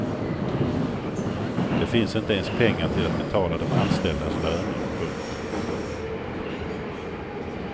Det finns inte ens pengar till att betala de anställdas löner. punkt